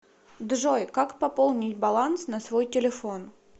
джой как пополнить баланс на свой телефон